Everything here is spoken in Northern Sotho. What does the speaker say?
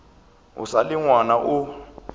o sa le ngwana o